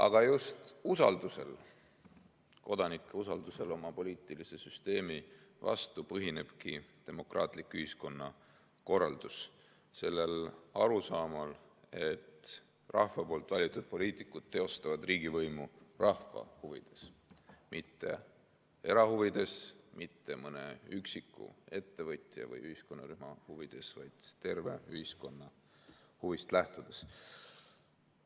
Aga just usaldusel, kodanike usaldusel oma poliitilise süsteemi vastu põhinebki demokraatlik ühiskonnakorraldus – sellel arusaamal, et rahva valitud poliitikud teostavad riigivõimu rahva huvides, mitte erahuvides, mitte mõne üksiku ettevõtja või ühiskonnarühma huvides, vaid terve ühiskonna huvidest lähtudes.